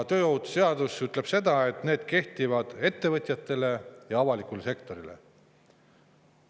See seadus ütleb, et need kehtivad ettevõtjate ja avaliku sektori kohta.